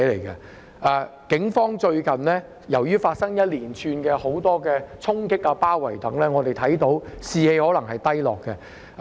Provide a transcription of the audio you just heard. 由於最近發生了一連串的衝擊和包圍事件，警方的士氣可能低落。